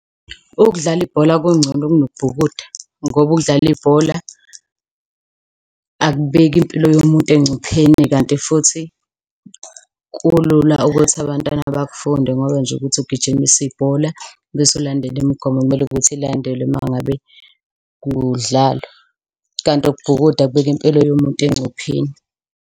Ukudlala ibhola kungcono kunokubhukuda ngoba ukudlala ibhola akubeki impilo yomuntu engcupheni kanti futhi kulula ukuthi abantwana bakufunde ngoba nje ukuthi ugijimise ibhola bese ulandele imigomo. Kumele ukuthi ilandelwe uma ngabe kudlalwa kanti ukubhukuda kubeka impilo yomuntu engcupheni.